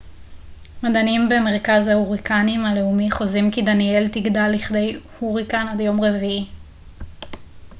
מדענים במרכז ההוריקנים הלאומי חוזים כי דניאל תגדל לכדי הוריקן עד יום רביעי